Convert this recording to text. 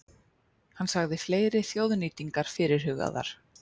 Hann sagði fleiri þjóðnýtingar fyrirhugaðar